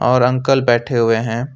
और अंकल बैठे हुए हैं।